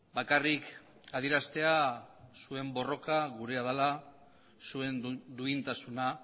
bakarrik adieraztea zuen borroka gurea dela zuen duintasuna